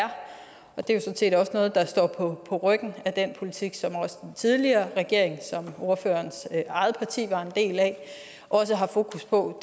det er set også noget der står på ryggen af den politik som også den tidligere regering som ordførerens eget parti var en del af havde fokus på